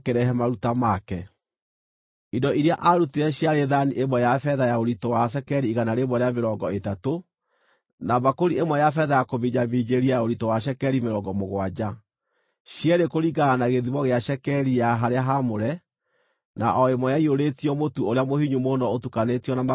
Indo iria aarutire ciarĩ thaani ĩmwe ya betha ya ũritũ wa cekeri igana rĩa mĩrongo ĩtatũ, na mbakũri ĩmwe ya betha ya kũminjaminjĩria ya ũritũ wa cekeri mĩrongo mũgwanja, cierĩ kũringana na gĩthimo gĩa cekeri ya harĩa haamũre, na o ĩmwe ĩiyũrĩtio mũtu ũrĩa mũhinyu mũno ũtukanĩtio na maguta, ũrĩ iruta rĩa mũtu;